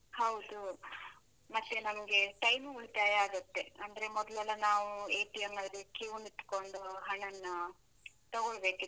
ಹೌದು, ಮತ್ತೆ ನಮ್ಗೆ time ಉಳಿತಾಯ ಆಗುತ್ತೆ, ಅಂದ್ರೆ ಮೊದ್ಲೆಲ್ಲ ನಾವು ಅಲ್ಲಿ queue ನಿತ್ಕೊಂಡು ಹಣನ್ನ ತಗೊಳ್ಬೇಕಿತ್ತು.